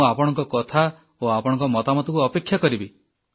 ମୁଁ ଆପଣଙ୍କ କଥା ଓ ଆପଣଙ୍କ ମତାମତକୁ ଅପେକ୍ଷା କରିବି